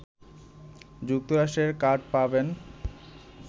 যুক্তরাষ্ট্রের কার্ড পাবেন